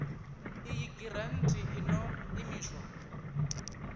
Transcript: iyi giranthi i ḓo imiswa